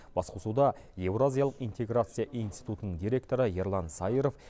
басқосуда еуразиялық интеграция институтының директоры ерлан саиров